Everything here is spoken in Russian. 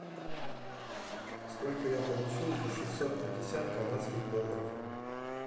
сколько я получу за шестьсот пятьдесят канадских долларов